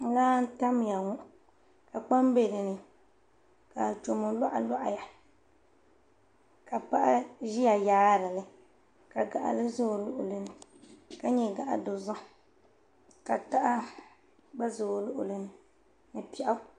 Laa n tamya ŋo ka kpam bɛ dinni ka achomo loɣa loɣa ya ka paɣa ʒiya yaarili ka gaɣali bɛ o luɣuli ni ka nyɛ gaɣa dozim ka taha gba ʒɛ o luɣuli ni ka piɛɣu